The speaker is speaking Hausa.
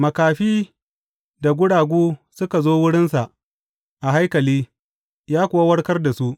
Makafi da guragu suka zo wurinsa a haikali, ya kuwa warkar da su.